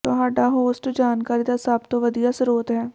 ਤੁਹਾਡਾ ਹੋਸਟ ਜਾਣਕਾਰੀ ਦਾ ਸਭ ਤੋਂ ਵਧੀਆ ਸਰੋਤ ਹੈ